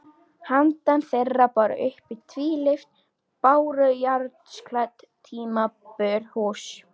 Handan þeirra bar uppi tvílyft bárujárnsklædd timburhús.